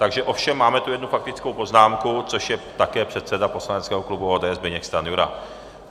Takže ovšem máme tu jednu faktickou poznámku, což je také předseda poslaneckého klubu ODS Zbyněk Stanjura.